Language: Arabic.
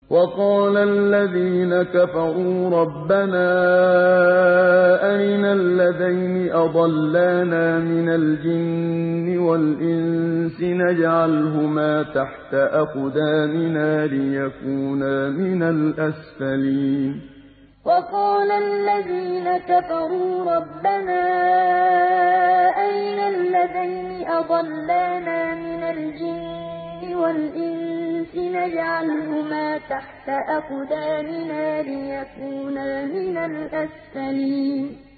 وَقَالَ الَّذِينَ كَفَرُوا رَبَّنَا أَرِنَا اللَّذَيْنِ أَضَلَّانَا مِنَ الْجِنِّ وَالْإِنسِ نَجْعَلْهُمَا تَحْتَ أَقْدَامِنَا لِيَكُونَا مِنَ الْأَسْفَلِينَ وَقَالَ الَّذِينَ كَفَرُوا رَبَّنَا أَرِنَا اللَّذَيْنِ أَضَلَّانَا مِنَ الْجِنِّ وَالْإِنسِ نَجْعَلْهُمَا تَحْتَ أَقْدَامِنَا لِيَكُونَا مِنَ الْأَسْفَلِينَ